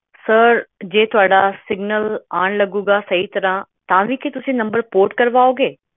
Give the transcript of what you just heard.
sir ਜੇ ਤੁਹਾਡਾ Signal ਆਣ ਲੱਗੂਗਾ ਚੰਗੀ ਤਰ੍ਹਾਂ ਤਾਂ ਵੀ ਕੀ ਤੁਸੀ number port ਕਾਰਵਾਓਗੇ